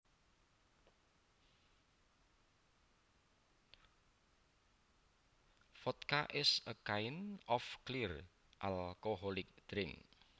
Vodka is a kind of clear alcoholic drink